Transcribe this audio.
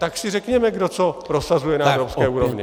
Tak si řekněme, kdo co prosazuje na evropské úrovni!